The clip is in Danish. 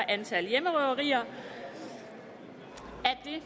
antal hjemmerøverier …